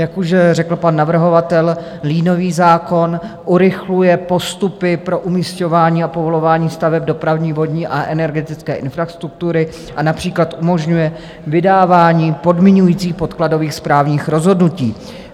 Jak už řekl pan navrhovatel, liniový zákon urychluje postupy pro umisťování a povolování staveb dopravní, vodní a energetické infrastruktury a například umožňuje vydávání podmiňujících podkladových správních rozhodnutí.